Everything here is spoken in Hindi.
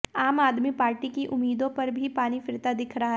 आम आदमी पार्टी की उम्मीदों पर भी पानी फिरता दिख रहा है